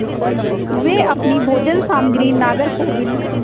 वे अपनी भोजन सामग्री नागरकोविल